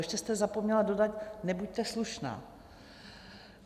Ještě jste zapomněla dodat "nebuďte slušná".